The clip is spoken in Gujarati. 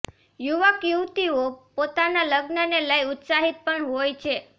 યુવક યુવતીઓ પોતાના લગ્નને લઈ ઉત્સાહિત પણ હોય છે